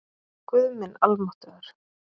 Guð minn almáttugur